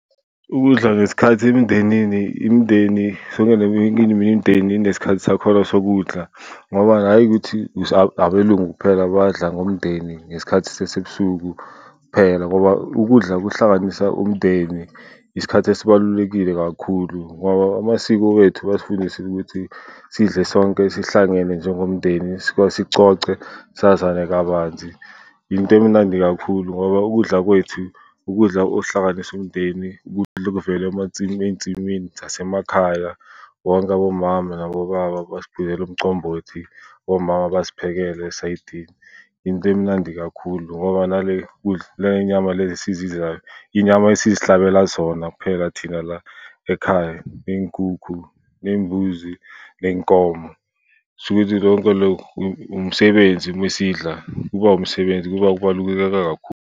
Ukudla ngesikhathi emindenini, imindeni, sonke neminye imindeni inesikhathi sakhona sokudla ngoba hhayi, ukuthi abelungu kuphela abadla ngomndeni ngesikhathi sasebusuku kuphela. Ngoba ukudla kuhlanganisa umndeni, isikhathi esibalulekile kakhulu ngoba amasiko wethu asifundisile ukuthi sidle sonke sihlangene njengomndeni, sicoce sazane kabanzi. Yinto emnandi kakhulu ngoba ukudla kwethu ukudla okuhlanganisa umndeni, ukudla okuvela amansimini, ey'nsimini zasemakhaya, bonke abomama nabobaba bazicwilela umcombothi, omama bayaziphekela esayidini. Into emnandi kakhulu ngoba nale kudla, nale y'nyama lezi esizidlayo, iy'nyama esizihlabela zona kuphela thina la ekhaya, ney'nkukhu, ney'mbuzi, ney'nkomo. Kushukuthi konke lokhu umsebenzi mesidla, kuba umsebenzi kuba kubaluleke kakhulu.